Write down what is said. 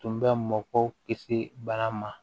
Tun bɛ mɔgɔw kisi bana ma